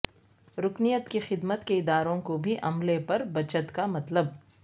رکنیت کی خدمت کے اداروں کو بھی عملے پر بچت کا مطلب